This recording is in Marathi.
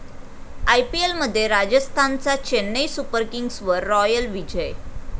आयपीएलमध्ये राजस्थानचा चेन्नई सुपर किंग्सवर रॉयल विजय